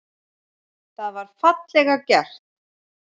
Það var fallega gert.